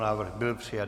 Návrh byl přijat.